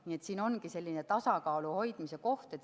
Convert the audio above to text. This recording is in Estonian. Nii et siin ongi tasakaalu hoidmise koht.